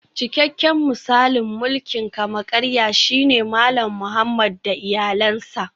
Cikakken misalin mulkin kama-karya shine Malam Muhammad da iyalansa